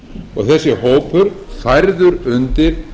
og þessi hópur færður undir